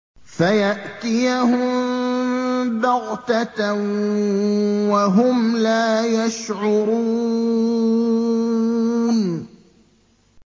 فَيَأْتِيَهُم بَغْتَةً وَهُمْ لَا يَشْعُرُونَ